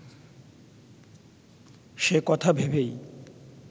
সে কথা ভেবেই